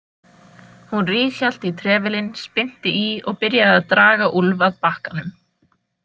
Hún ríghélt í trefilinn, spyrnti í og byrjaði að draga Úlf að bakkanum.